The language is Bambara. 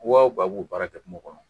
baara kɛ kungo kɔnɔ.